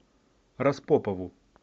распопову